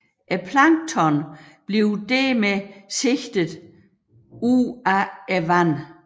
Planktonet bliver dermed sigtet ud af vandet